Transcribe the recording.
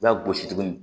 I b'a gosi tuguni